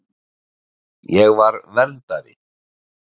Ég var verndari.